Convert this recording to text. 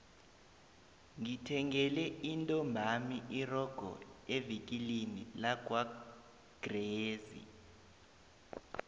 ngithengele intombami irogo evikilini lakwagwezi